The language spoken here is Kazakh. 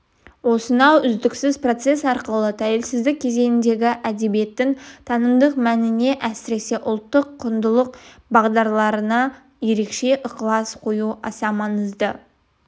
осынау үздіксіз процес арқылы тәуелсіздік кезеңіндегі әдебиеттің танымдық мәніне әсіресе ұлттық құндылық бағдарларына ерекше ықылас қою аса маңызды